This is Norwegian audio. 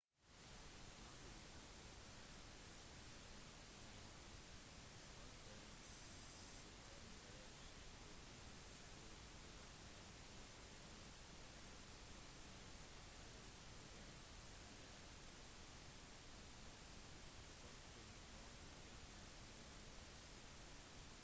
nadia ble født med keisersnitt den 17. september 2007 på en fødeklinikk i aleisk russland hun veide hele 17 pund og 1 unse